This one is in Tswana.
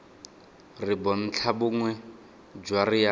re bontlhabongwe jwa re a